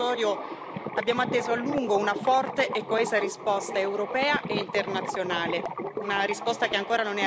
Nel fronteggiare il fenomeno migratorio, abbiamo atteso a lungo una forte e coesa risposta europea e internazionale.